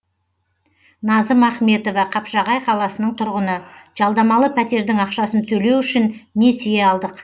назым ахметова қапшағай қаласының тұрғыны жалдамалы пәтердің ақшасын төлеу үшін несие алдық